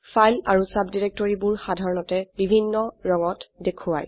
file আৰু সাবডিৰেক্টৰিবোৰ সাধাৰনতে বিভিন্ন ৰঙত দেখোৱায়